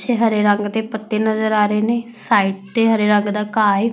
ਪਿੱਛੇ ਹਰੇ ਰੰਗ ਦੇ ਪੱਤੇ ਨਜ਼ਰ ਆ ਰਹੇ ਨੇ ਸਾਈਡ ਤੇ ਹਰੇ ਰੰਗ ਦਾ ਘਾਹ ਹੈ।